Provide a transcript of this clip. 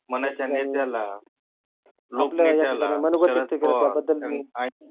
मनाच्या नेत्याला लोकनेत्याला शरद पवार साहेब